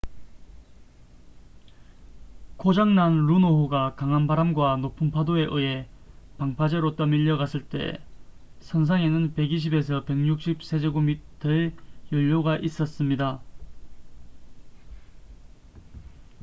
고장 난 루노호가 강한 바람과 높은 파도에 의해 방파제로 떠밀려갔을 때 선상에는 120~160 세제곱미터의 연료가 있었습니다